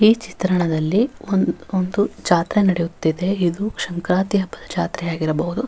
ಈ ಚಿತ್ರಣದಲ್ಲಿ ಒಂದು ಒಂದು ಜಾತ್ರೆ ನಡಿಯುತ್ತಿದೆ ಇದು ಶಂಕ್ರಾಂತಿ ಹಬ್ಬದ ಜಾತ್ರೆ ಆಗಿರಬಹುದು.